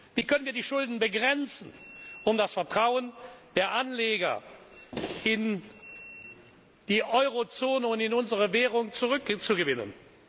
Wie können wir die Schulden begrenzen, um das Vertrauen der Anleger in die Eurozone und in unsere Währung zurückzugewinnen?